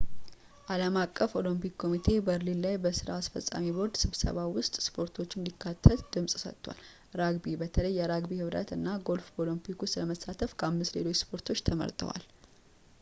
ዓለም አቀፉ ኦሎምፒክ ኮሚቴ በርሊን ዛሬ በሥራ አስፈፃሚ ቦርድ ስብሰባው ውስጥ ሰፖርቶቹ እንዲካተት ድምፅ ሰጥቷል ራግቢ በተለይም የራግቢ ኅብረት እና ጎልፍ በኦሎምፒክ ውስጥ ለመሳተፍ ከአምስት ሌሎች ስፖርቶች ተመርጠዋል